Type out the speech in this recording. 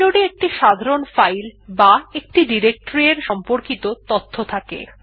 inode এ একটি সাধারণ ফাইল বা একটি ডিরেকটরি এর সম্পর্কিত তথ্য থাকে